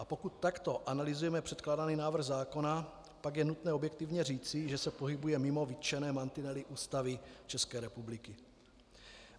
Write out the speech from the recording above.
A pokud takto analyzujeme předkládaný návrh zákona, pak je nutné objektivně říci, že se pohybuje mimo vytčené mantinely Ústavy České republiky.